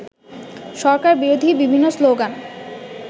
সরকারবিরোধী বিভিন্ন স্লোগান